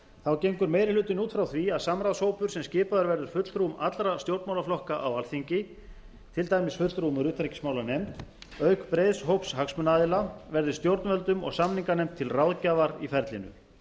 þá gengur meiri hlutinn út frá því að samráðshópur sem skipaður verður fulltrúum allra stjórnmálaflokka á alþingi til dæmis fulltrúum úr utanríkismálanefnd auk breiðs hóps hagsmunaaðila verði stjórnvöldum og samninganefnd til ráðgjafar í ferlinu